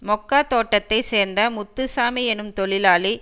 மொக்கா தோட்டத்தை சேர்ந்த முத்துசாமி எனும் தொழிலாளி